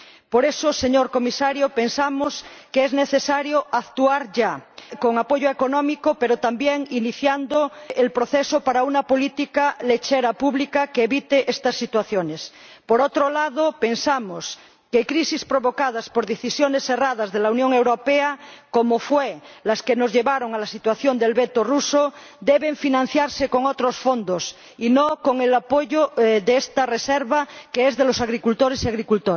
Por eso, señor Comisario, pensamos que es necesario actuar ya, con apoyo económico, pero también iniciando el proceso para una política lechera pública que evite estas situaciones. Por otro lado, pensamos que crisis provocadas por decisiones erradas de la Unión Europea, como fueron las que nos llevaron a la situación del veto ruso, deben financiarse con otros fondos y no con el apoyo de esta reserva, que es de los agricultores y agricultoras.